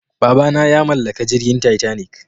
babana ya mallaka jirgin titanic